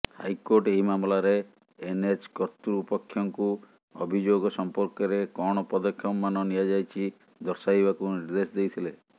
high court ଏହି ମାମଲାରେ NH କର୍ତ୍ତୃପକ୍ଷଙ୍କୁ ଅଭିଯୋଗ ସଂପର୍କରେ କଣ ପଦକ୍ଷେପମାନ ନିଆଯାଇଛି ଦର୍ଶାଇବାକୁ ନିର୍ଦ୍ଦେଶ ଦେଇଥିଲେ